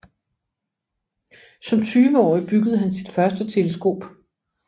Som tyveårig byggede han sit første teleskop